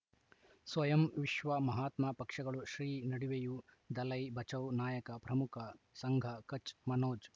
ಸ್ವಯಂ ವಿಶ್ವ ಮಹಾತ್ಮ ಪಕ್ಷಗಳು ಶ್ರೀ ನಡೆವೆಯೂ ದಲೈ ಬಚೌ ನಾಯಕ ಪ್ರಮುಖ ಸಂಘ ಕಚ್ ಮನೋಜ್